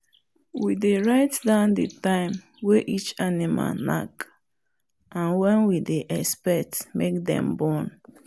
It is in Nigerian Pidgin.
we dey write down the time way each animal knack and when we dey expect make dem born.